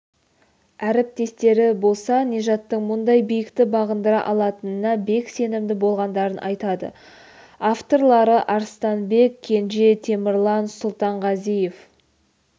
әріптестері болса нижаттың мұндай биікті бағындыра алатынына бек сенімді болғандарын айтады авторлары арыстанбек кенже темірлан сұлтанғазиев